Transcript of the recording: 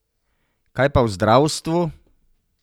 Kaj pa v zdravstvu?